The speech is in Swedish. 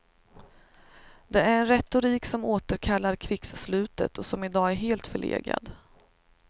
Det är en retorik som återkallar krigsslutet och som i dag är helt förlegad.